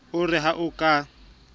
o re ha o ka